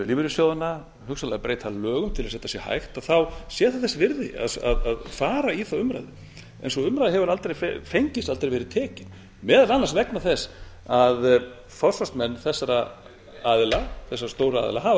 lífeyrissjóðanna hugsanlega breyta lögum til þess að þetta sé hægt sé það þessi virði að fara í þá umræðu sú umræða hefur aldrei fengist aldrei verið tekin meðal annars vegna þess að forsvarsmenn þessara aðila þessara stóru aðila hafa